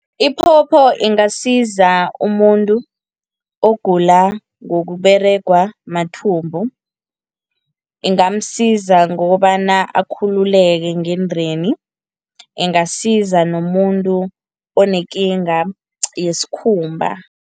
Iphopho ingasiza umuntu ogula ngokUberegwa mathumbu, ingamsiza ngokobana akhululeke ngendeni. Ingasiza nomuntu onekinga yesikhumba.